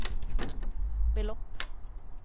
belopp